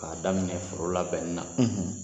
Ka daminɛ foro labɛnni na